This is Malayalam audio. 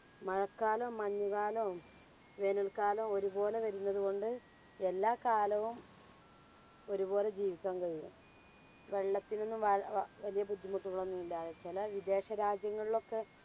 മഴകാലോം മഞ്ഞുകാലോം വേനൽകാലോം ഒരുപോലെ വരുന്നതു കൊണ്ട് എല്ലാ കാലവും ഒരുപോലെ ജീവിക്കാൻ കഴിയും. വെള്ളത്തിനൊന്നും വ വ വലിയ ബുദ്ധിമുട്ടുകളൊന്നും ഇല്ലാതെ. ചെല വിദേശരാജ്യങ്ങളിൽ ഒക്കെ